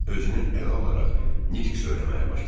Özünü ələ alaraq nitq söyləməyə başladı.